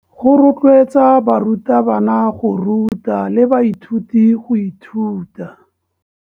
Go rotloetsa barutabana go ruta le baithuti go ithuta.